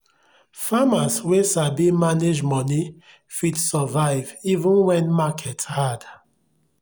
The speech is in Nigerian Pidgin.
farmers wey sabi manage money fit survive even when market hard.